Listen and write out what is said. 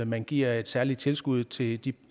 man giver et særligt tilskud til de